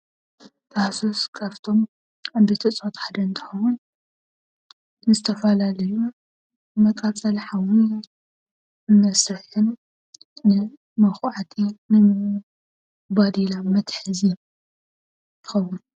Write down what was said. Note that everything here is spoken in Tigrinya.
ታህሶስ ካብቶም እፅዋት ሓደ እንትኸውን ንዝተፈላዩ መቃፀሊ ሓዊ መሳሪሒን ንመኳዓትን ፣ባዴላ መትሓዝን ይኸውን።